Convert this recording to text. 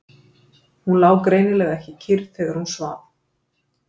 Hún lá greinilega ekki kyrr þegar hún svaf.